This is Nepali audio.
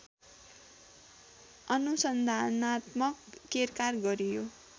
अनुसन्धानात्मक केरकार गरियो